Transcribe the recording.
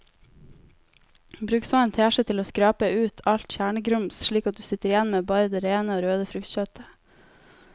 Bruk så en teskje til å skrape ut alt kjernegrums slik at du sitter igjen med bare det rene og røde fruktkjøttet.